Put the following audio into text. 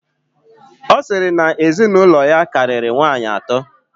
Ọ sịrị na ezinụlọ ya karịrị nwaanyị atọ.